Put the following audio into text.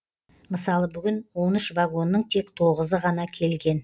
мысалы бүгін он үш вагонның тек тоғызы ғана келген